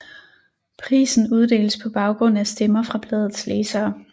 Prisen uddeles på baggrund af stemmer fra bladets læsere